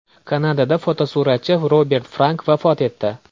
Kanadada fotosuratchi Robert Frank vafot etdi .